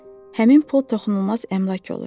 Həmin pul toxunulmaz əmlak olur.